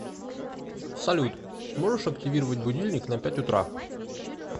салют можешь активировать будильник на пять утра